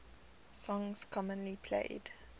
songs commonly played